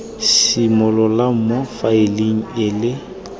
simololang mo faeleng e le